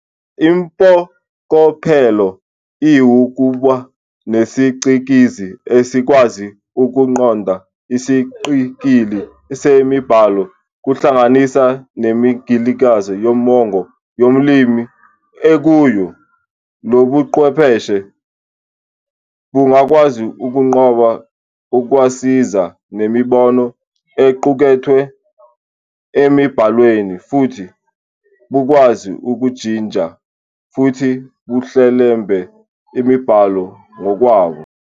Impokophelo iwukuba nesicikizi esikwazi "ukuqonda" isiqikili semibhalo, kuhlanganise neminingilizo yomongo yolimi ekuyo. Lobuchwepheshe bungakwazi ukugqoba ukwaziswa nemibono equkethwe emibhalweni futhi bukwazi ukujinja futhi buhlelembe imibhalo ngokwabo.